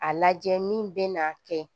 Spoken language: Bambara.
A lajɛ min bɛ na kɛ